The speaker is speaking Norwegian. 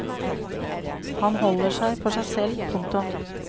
Han holder seg for seg selv. punktum